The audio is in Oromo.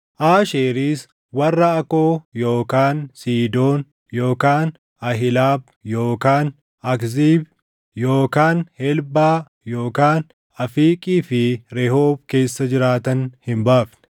Aasheeris warra Akoo yookaan Siidoon yookaan Ahilaab yookaan Akziib yookaan Helbaa yookaan Afiiqii fi Rehoob keessa jiraatan hin baafne;